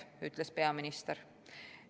Seda ütles peaminister.